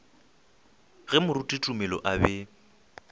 ge moruti tumelo a be